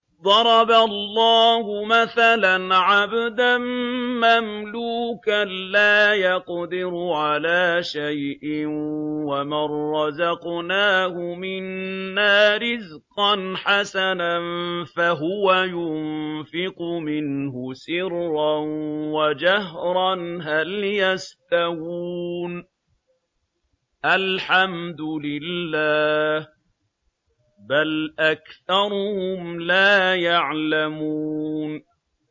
۞ ضَرَبَ اللَّهُ مَثَلًا عَبْدًا مَّمْلُوكًا لَّا يَقْدِرُ عَلَىٰ شَيْءٍ وَمَن رَّزَقْنَاهُ مِنَّا رِزْقًا حَسَنًا فَهُوَ يُنفِقُ مِنْهُ سِرًّا وَجَهْرًا ۖ هَلْ يَسْتَوُونَ ۚ الْحَمْدُ لِلَّهِ ۚ بَلْ أَكْثَرُهُمْ لَا يَعْلَمُونَ